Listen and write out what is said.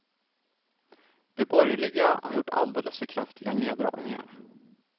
De borgerliga har gjort alldeles för kraftiga neddragningar.